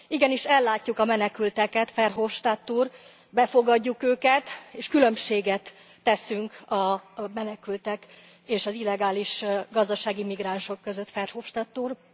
Igenis ellátjuk a menekülteket, Verhofstadt úr, befogadjuk őket és különbséget teszünk a menekültek és az illegális gazdasági migránsok között, Verhofstadt úr.